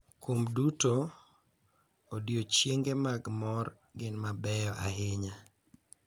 Kuom duto, odiochienge mag mor gin mabeyo ahinya